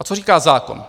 A co říká zákon?